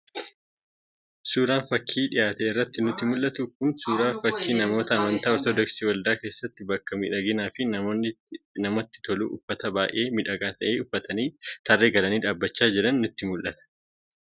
Suuraan fakii dhiyaate irraa nutti mul'atu Kun suuraa fakii namoota amantaa ortodoksii waldaa keessatti bakka miidhagaa fi namatti tolutti uffata baay'ee miidhagaa ta'e uffatanii tarree galanii dhaabachaa jiranii nutti mul'isa.